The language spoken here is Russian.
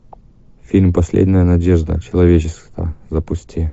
фильм последняя надежда человечества запусти